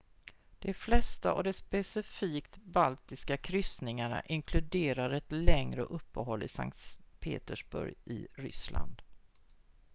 de flesta av de specifikt baltiska kryssningarna inkluderar ett längre uppehåll i sankt petersburg i ryssland